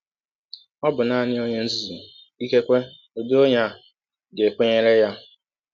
Ọ bụ nanị ọnye nzuzu — ikekwe ụdị ọnye a — ga - ekwenyere ya.